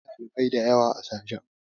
Akwai ɗalibai da yawa a sashen.